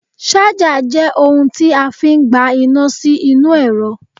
Ṣájà jẹ́ ohun tí a fi ń gba iná sí inú ẹ̀rọ